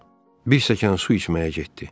Bir stəkan su içməyə getdi.